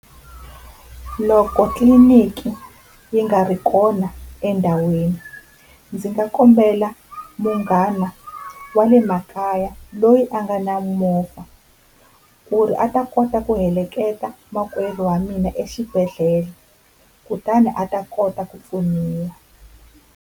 Loko tliliniki yi nga ri kona endhawini ndzi nga kombela munghana wa le makaya loyi a nga na movha ku ri a ta kota ku heleketa makweru wa mina exibedhlele kutani a ta kota ku pfuniwa.